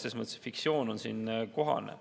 Selles mõttes on fiktsioon siin kohane.